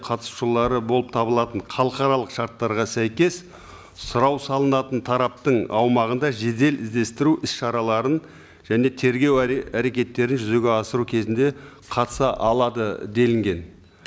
қатысушылары болып табылатын халықаралық шарттарға сәйкес сұрау салынатын тараптың аумағында жедел іздестіру іс шараларын және тергеу әрекеттерін жүзеге асыру кезінде қатыса алады делінген